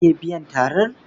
Za ki iya biyan tarar?